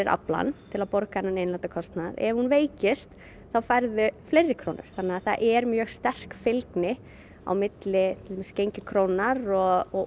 aflann til að borga þennan innlenda kostnað ef hún veikist færðu fleiri krónur þannig að það er mjög sterk fylgni milli til dæmis gengis krónunnar og